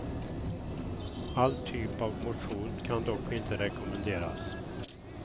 All typ av motion kan dock inte rekommenderas.